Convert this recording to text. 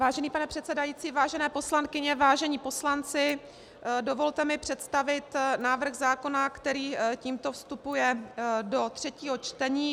Vážený pane předsedající, vážené poslankyně, vážení poslanci, dovolte mi představit návrh zákona, který tímto vstupuje do třetího čtení.